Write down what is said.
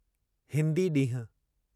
हिन्दी ॾींहुं